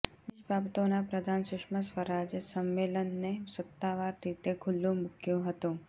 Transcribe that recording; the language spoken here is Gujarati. વિદેશ બાબતોના પ્રધાન સુષ્મા સ્વરાજે સંમેલનને સત્તાવાર રીતે ખૂલ્લું મૂક્યું હતું